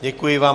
Děkuji vám.